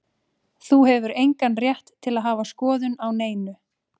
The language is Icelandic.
Þú hefur engan rétt til að hafa skoðun á neinu.